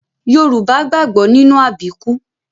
Yorùbá gbàgbọ́ nínú àbíkú